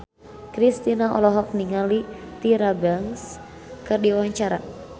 Kristina olohok ningali Tyra Banks keur diwawancara